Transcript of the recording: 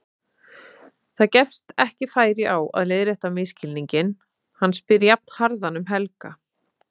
Það gefst ekki færi á að leiðrétta misskilninginn, hann spyr jafnharðan um Helga.